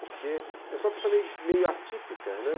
Porque eu sou uma pessoa meio atípica, né.